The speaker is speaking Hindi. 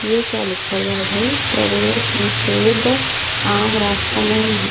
ये क्या लिखा हुआ है भाई प्रवेश निषेध आम रास्ता नहीं है।